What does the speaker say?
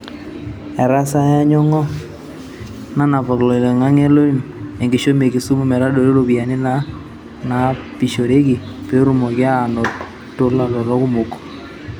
Etasayia Nyong’o nanapak loloingange loim enkishomi e Kisumu meitadoi iropiyiani naanapishoreki peetumoki aanotolatotok kumok.